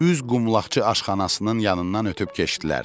Üz qumlaqçı aşxanasının yanından ötüb keçdilər.